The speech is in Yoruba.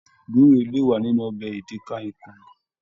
Guure le wa nínú ọbẹ edikaikong.